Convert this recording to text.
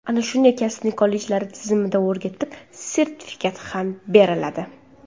Ana shunday kasbni kollejlar tizimida o‘rgatib, sertifikat ham beriladi.